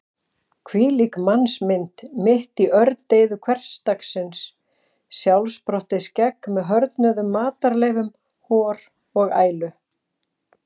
Hvílík mannsmynd mitt í ördeyðu hversdagsins: sjálfsprottið skegg með hörðnuðum matarleifum, hor og ælu.